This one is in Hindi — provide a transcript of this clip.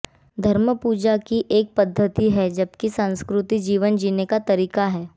धर्म पूजा की एक पद्धति है जबकि संस्कृति जीवन जीने का तरीका है